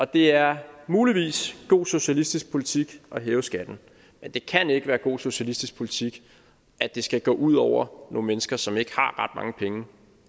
det er muligvis god socialistisk politik at hæve skatten men det kan ikke være god socialistisk politik at det skal gå ud over nogle mennesker som ikke har mange penge